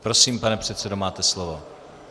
Prosím, pane předsedo, máte slovo.